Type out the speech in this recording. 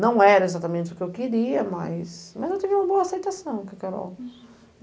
Não era exatamente o que eu queria, mas mas eu tive uma boa aceitação com a Carol.